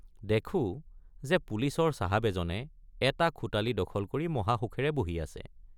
দেখোঁ যে পুলিচৰ চাহাব এজনে এটা খোটালি দখল কৰি মহাসুখেৰে বহি আছে।